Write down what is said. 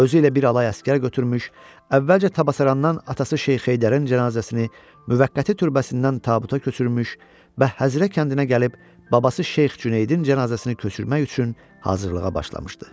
Özü ilə bir alay əsgər götürmüş, əvvəlcə Təbəssərandan atası Şeyx Heydərin cənazəsini müvəqqəti türbəsindən tabuta köçürmüş və Həzrə kəndinə gəlib babası Şeyx Cüneydin cənazəsini köçürmək üçün hazırlığa başlamışdı.